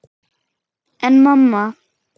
En mamma!